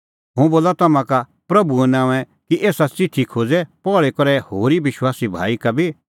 हुंह बोला तम्हां का प्रभूए नांओंऐं कि एसा च़िठी खोज़ै पहल़ी करै होरी विश्वासी भाई का बी